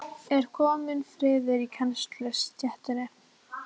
Er kominn friður í kennarastéttinni?